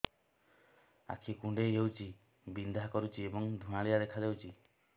ଆଖି କୁଂଡେଇ ହେଉଛି ବିଂଧା କରୁଛି ଏବଂ ଧୁଁଆଳିଆ ଦେଖାଯାଉଛି